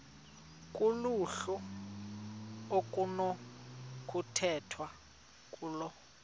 kuluhlu okunokukhethwa kulo